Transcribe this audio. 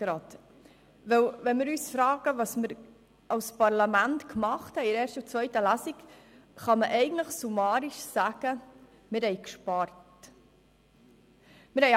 Wenn wir uns fragen, was wir als Parlament in der ersten und zweiten Lesung gemacht haben, kann man eigentlich summarisch sagen, dass wir gespart haben.